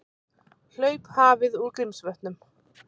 Hlaup hafið úr Grímsvötnum